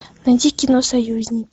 найди кино союзники